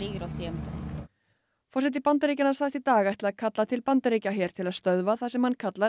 forseti Bandaríkjanna sagðist í dag ætla að kalla til Bandaríkjaher til að stöðva það sem hann kallar